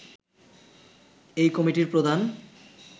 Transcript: এই কমিটির প্রধান